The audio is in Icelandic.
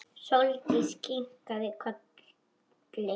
Sóldís kinkaði kolli.